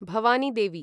Bhavani Devi